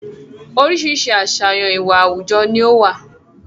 Oríṣiríṣi àsàyàn ìwà àwùjọ ni ó wà.